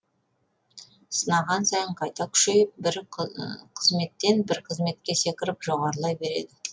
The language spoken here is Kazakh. сынаған сайын қайта күшейіп бір қызметтен бір қызметке секіріп жоғарылай береді